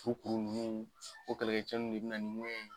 Kukuru nunnu o kɛlɛcɛw de be na nin ŋɛɲɛ ye